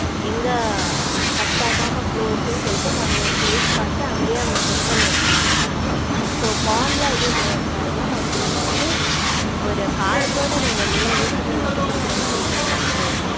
எங்க cut ஆகாம flow இருக்குன்னு சொல்லிட்டு நாங்க ஒரு place பார்த்து அங்கேயே அவங்க set பண்ணி வச்சிருவாங்க அங்கே so formal லா எதுவும் தேவைப்படாது mam அதுக்கு நீங்க வந்து ஒரு password and உங்க name user name மட்டும் கொடுக்கிற மாதிரி இருக்கும் mam so